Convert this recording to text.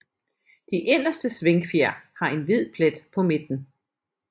De inderste svingfjer har en hvid plet på midten